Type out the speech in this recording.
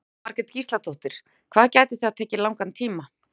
Jóhanna Margrét Gísladóttir: Hvað gæti það tekið langan tíma?